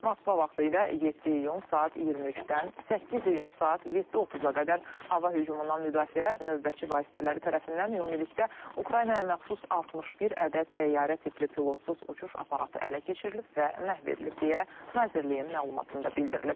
Moskva vaxtı ilə 7 iyun saat 23-dən 8 iyun saat 7:30-a qədər hava hücumundan müdafiə növbətçi vasitələri tərəfindən ümumilikdə Ukraynaya məxsus 61 ədəd təyyarə tipli pilotsuz uçuş aparatı ələ keçirilib və məhv edilib deyə nazirliyin məlumatında bildirilib.